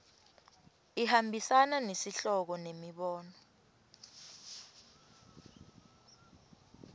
ihambisana nesihloko nemibono